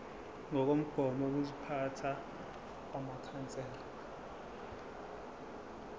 ngokomgomo wokuziphatha wamakhansela